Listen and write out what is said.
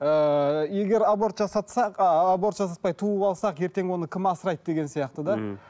ыыы егер аборт жасатсақ ыыы аборт жасатпай туып алсақ ертең оны кім асырайды деген сияқты да мхм